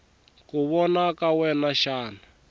ku vona ka wena xana